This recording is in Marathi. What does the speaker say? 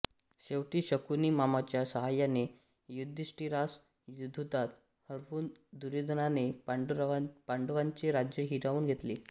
शेवटी शकुनी मामाच्या साहाय्याने युधिष्ठिरास द्यूतात हरवून दुर्योधनाने पांडवांचे राज्य हिरावून घेतले